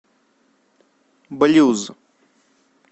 блюз